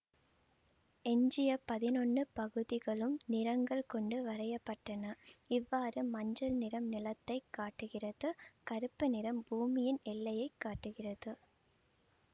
எஞ்சிய பதினொன்னு பகுதிகளும் நிறங்கள் கொண்டு வரையப்பட்டன இவ்வாறு மஞ்சள் நிறம் நிலத்தை காட்டுகிறது கருப்பு நிறம் பூமியின் எல்லையை காட்டுகிறது